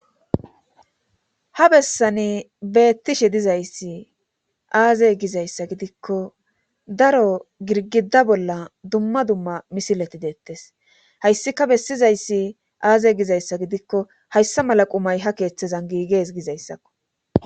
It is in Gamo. Ha bessani beettishe dizayssi aazey gizayssa gidikko daro girgidda bolla dumma dumma misileti deettes hayssika bessizayssi aaze gizayssa gidikko hayssa mala qumay ha keeththezan giigees gizayssakko